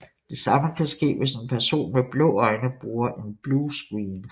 Det samme kan ske hvis en person med blå øjne bruger en blue screen